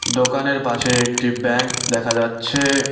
দোকানের পাশে একটি ব্যাংক দেখা যাচ্ছে।